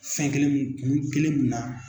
Fɛn kelen min kun kelen min na.